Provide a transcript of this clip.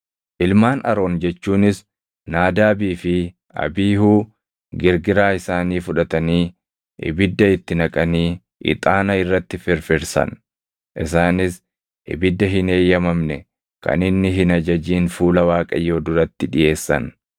Ilmaan Aroon jechuunis Naadaabii fi Abiihuu girgiraa isaanii fudhatanii ibidda itti naqanii ixaana irratti firfirsan; isaanis ibidda hin eeyyamamne kan Inni hin ajajin fuula Waaqayyoo duratti dhiʼeessan.